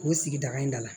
O sigida in da la